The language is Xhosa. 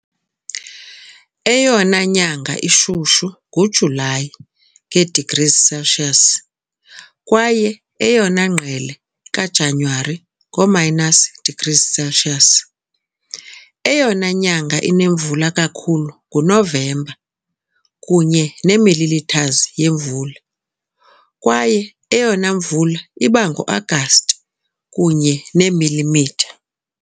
Eyona nyanga ishushu nguJulayi, nge degrees Celsius, kwaye eyona ngqele kaJanuwari, ngo-minus degrees Celsius. Eyona nyanga inemvula kakhulu nguNovemba, kunye ne millimeters yemvula, kwaye eyona mvula iba ngoAgasti, kunye neemilimitha .